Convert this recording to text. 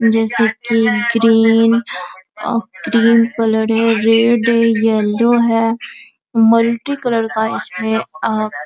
जैसे की green uh cream colour है रेड है येल्लो है मल्टी कलर का है इसमें अ --